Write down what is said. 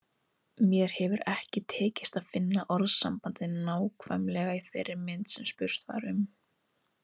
Mér hefur ekki tekist að finna orðasambandið nákvæmlega í þeirri mynd sem spurt var um.